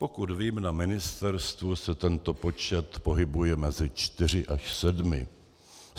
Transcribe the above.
Pokud vím, na ministerstvu se tento počet pohybuje mezi čtyřmi až sedmi.